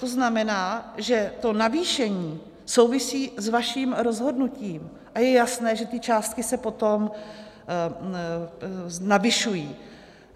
To znamená, že to navýšení souvisí s vaším rozhodnutím, a je jasné, že ty částky se potom navyšují.